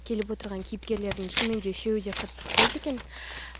келіп отырған кейіпкерлердің шынымен де үшеуі қатты ұқсайды екен